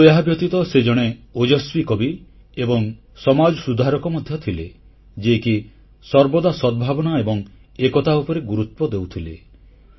କିନ୍ତୁ ଏହାବ୍ୟତୀତ ସେ ଜଣେ ଓଜସ୍ୱୀ କବି ଏବଂ ସମାଜସଂସ୍କାରକ ମଧ୍ୟ ଥିଲେ ଯିଏକି ସର୍ବଦା ସଦ୍ଭାବନା ଏବଂ ଏକତା ଉପରେ ଗୁରୁତ୍ୱ ଦେଉଥିଲେ